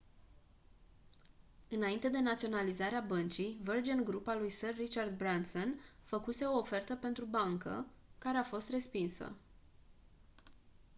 înainte de naționalizarea băncii virgin group al lui sir richard branson făcuse o ofertă pentru bancă care a fost respinsă